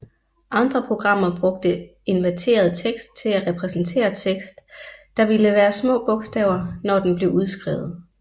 Andre programmer brugte inverteret tekst til at repræsentere tekst der ville være små bogstaver når den blev udskrevet